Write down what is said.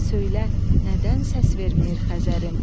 Söylə nədən səs verməyir Xəzərim?